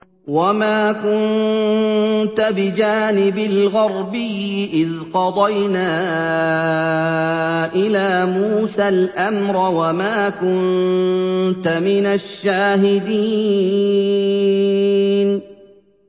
وَمَا كُنتَ بِجَانِبِ الْغَرْبِيِّ إِذْ قَضَيْنَا إِلَىٰ مُوسَى الْأَمْرَ وَمَا كُنتَ مِنَ الشَّاهِدِينَ